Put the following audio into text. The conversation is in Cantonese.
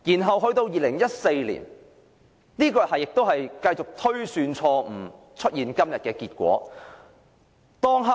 後來在2014年，當局繼續推算錯誤，以致出現今天的結果。